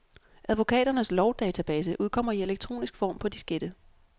Advokaternes lovdatabase udkommer i elektronisk form på diskette.